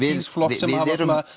þíns flokks sem hafa